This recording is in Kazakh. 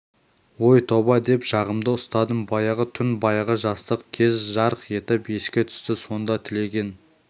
ой тоба деп жағамды ұстадым баяғы түн баяғы жастық кез жарқ етіп еске түсті сонда тілеген